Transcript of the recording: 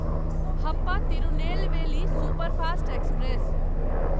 Happa Tirunelveli superfast express